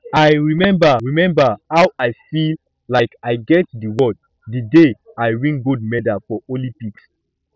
i remember remember how i feel like i get the world the day i win gold medal for olympics